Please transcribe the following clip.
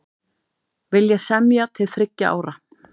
Vilja semja til þriggja ára